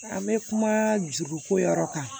An bɛ kuma juruko yɔrɔ kan